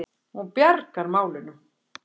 Hún bjargar málunum.